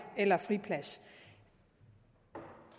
eller friplads